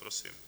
Prosím.